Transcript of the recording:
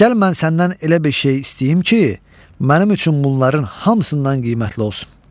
Gəl mən səndən elə bir şey istəyim ki, mənim üçün bunların hamısından qiymətli olsun.